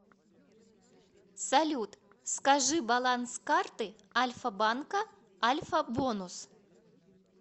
салют скажи баланс карты альфа банка альфа бонус